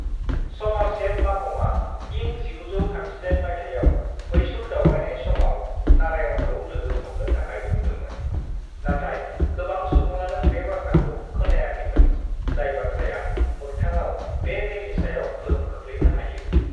"Somerset माघमआ इं 1938 माइथायाव मैसूर दावबायनाय समाव नारायणखौ लोगो हमनो थाखाय बुंदोंमोन, नाथाय गोबां सुबुङानो बे बाथ्राखौ खोनायाखैमोन, जाय बाथ्राया मोख्थाङाव बे मेलनि सायाव गोहोम खोख्लैनो हायो।"